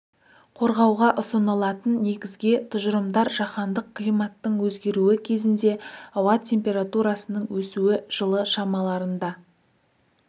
қорғауға ұсынылатын негізге тұжырымдар жаһандық климаттың өзгеруі кезінде ауа температурасының өсуі жылы шамаларында